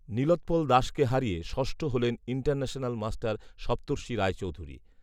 নীলোৎপল দাসকে হারিয়ে ষষ্ঠ হলেন ইন্টারন্যাশনাল মাস্টার সপ্তর্ষি রায়চৌধুরী